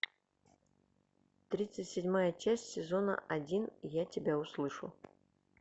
тридцать седьмая часть сезона один я тебя услышу